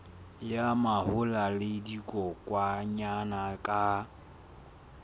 ya mahola le dikokwanyana ka